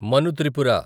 Manu Tripura